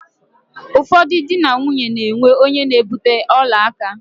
Ụfọdụ dị na nwaanyi na-enwe onye na-ebute ọla aka.